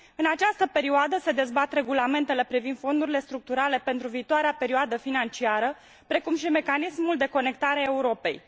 În această perioadă se dezbat regulamentele privind fondurile structurale pentru viitoarea perioadă financiară, precum și mecanismul de Conectare a Europei.